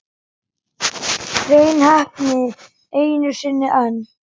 Hrein heppni einu sinni enn.